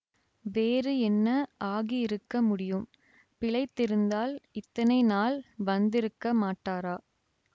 வேறு என்ன ஆகியிருக்க முடியும் பிழைத்திருந்தால் இத்தனை நாள் வந்திருக்க மாட்டாரா